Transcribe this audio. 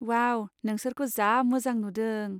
वाव, नोंसोरखौ जा मोजां नुदों।